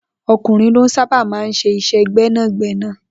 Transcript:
O̩kùnrin ló sábà máa ń s̩e is̩é̩ gbé̩nàgbé̩nà